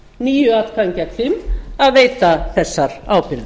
níu atkvæðum gegn fimm að veita þessar ábyrgðir